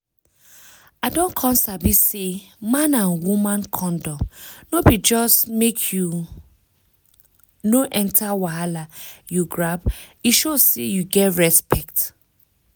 i don come sabi say man and woman condom no be just make you no enter wahala you grab e show say you get respect